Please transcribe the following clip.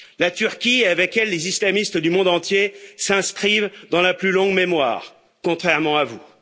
La Turquie, et avec elle les islamistes du monde entier, s'inscrivent dans la plus longue mémoire, contrairement à vous.